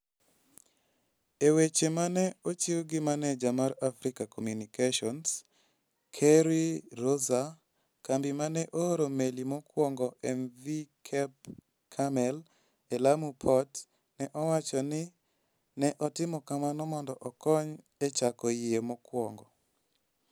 E weche ma ne ochiw gi maneja mar Africa Communications, Kerry Rosser, kambi ma ne ooro meli mokwongo, mv Cap Carmel e Lamu Port, ne owacho ni ne otimo kamano mondo okony e chako yie mokwongo.